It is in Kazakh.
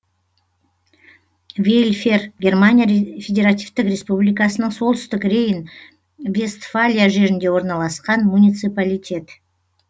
вельфер германия федеративтік республикасының солтүстік рейн вестфалия жерінде орналасқан муниципалитет